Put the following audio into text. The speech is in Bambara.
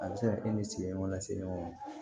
A bɛ se ka kɛ e ni sigiyɔrɔ lase ɲɔgɔn ma